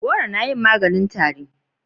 goro na yin maganin tari